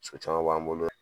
caman b'an bolo